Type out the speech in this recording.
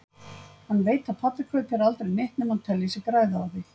Hann veit að pabbi kaupir aldrei neitt nema hann telji sig græða á því.